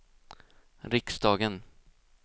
riksdagen